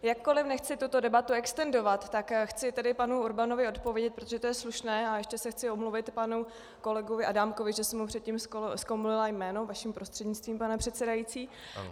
Jakkoliv nechci tuto debatu extendovat, tak chci tady panu Urbanovi odpovědět, protože to je slušné, a ještě se chci omluvit panu kolegovi Adámkovi, že jsem mu předtím zkomolila jméno, vaším prostřednictvím, pane předsedající.